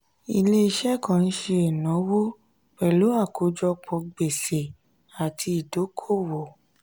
ilé-iṣẹ́ kan ń ṣe ìnáwó pẹ̀lú àkójọpọ̀ gbèsè àti ìdókòwò.